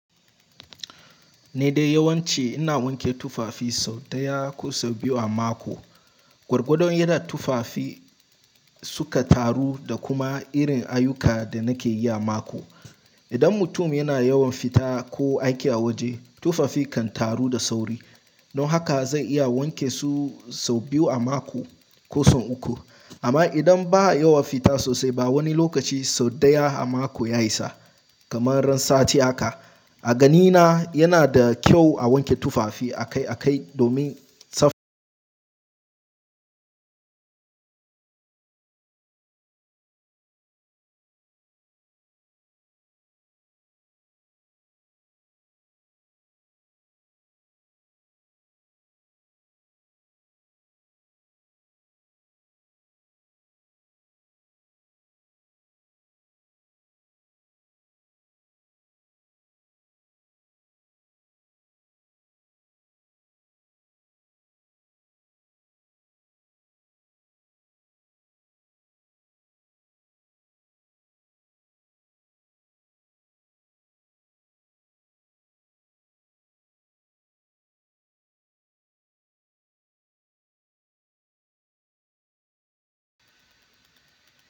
Ni dai yawance ina wanke tufafi sau ɗaya ko sau biyu a mako. Gwargwadon yadda tufafi suka taru da kuma irin ayyukan da nakeyi a mako. Idan mutum yana yawan fita ko aiki a waje, tufafi kan taru da sauri. Don haka zan iya wanke su sau biyu a mako ko sau uku. Amma idan ba a yawa fita sosai ba, wani lokaci sau ɗaya a mako ya isa, kamar ran sati aka. A ganina yanada kyau a wanke tufafi akai akai domin tsaf.